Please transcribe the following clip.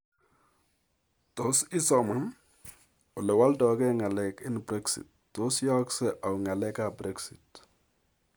Tos isoman:Olewaldoigei ng'aleek eng' brexit. Tos yaakse au ng'aleek ap brexit